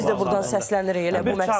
Biz də burdan səslənirik elə bu məqsədlə.